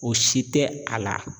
O si tɛ a la.